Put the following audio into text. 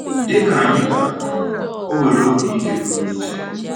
Dị ka anyị ga-ahụ, o nwere obi ike pụrụ iche.